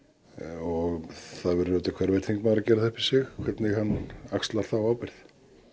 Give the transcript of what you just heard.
og það verður hver og einn þingmaður að gera það upp við sig hvernig hann axlar þá ábyrgð